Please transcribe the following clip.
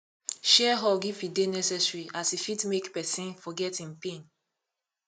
share hug if e dey necesary as e fit mek pesin forget em pain